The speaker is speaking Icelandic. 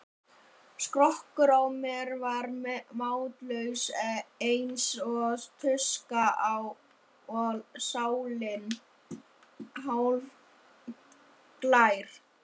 Skrokkurinn á mér var máttlaus eins og tuska og sálin hálfglær.